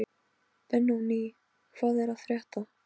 Benóní, hvað er að frétta?